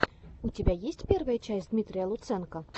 у тебя есть первая часть дмитрия лутсенко